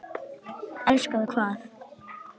Elskar þú hvað?